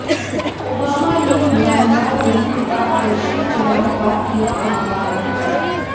Obama ने Myanmar में पारदर्शी चुनाव का किया आह्वान